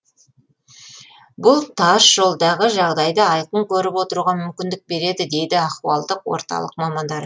бұл тас жолдағы жағдайды айқын көріп отыруға мүмкіндік береді дейді ахуалдық орталық мамандары